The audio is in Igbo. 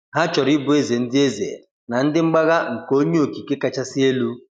Ha chọrọ ịbụ ézè ndị ézè na ndị mgbagha nke onye okike kachasị elu.